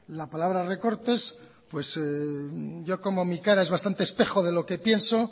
la palabra recortes pues yo como mi cara es bastante espejo de lo que pienso